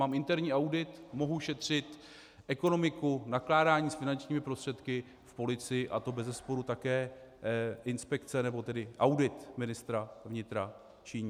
Mám interní audit, mohu šetřit ekonomiku, nakládání s finančními prostředky v policii a to bezesporu také inspekce nebo tedy audit ministra vnitra činí.